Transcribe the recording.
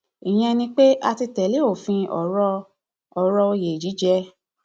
ìyẹn ni pé a ti tẹlé òfin ọrọ ọrọ òye jíjẹ